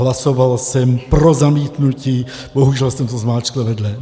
Hlasoval jsem pro zamítnutí, bohužel jsem to zmáčkl vedle.